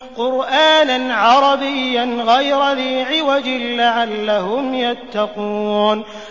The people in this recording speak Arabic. قُرْآنًا عَرَبِيًّا غَيْرَ ذِي عِوَجٍ لَّعَلَّهُمْ يَتَّقُونَ